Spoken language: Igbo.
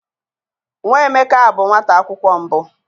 Nwa Emeka bụ nwata akwụkwọ mbụ.